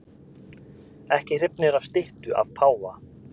Ekki hrifnir af styttu af páfa